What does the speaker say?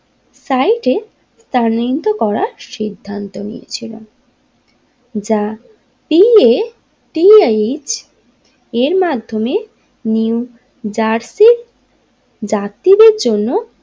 সাইজও এ স্থানান্তরিত করার সিদ্ধান্ত নিয়েছিলেন যা P A T R H এর মাধ্যমে নিউ জার্সি যাত্রী দের জন্য।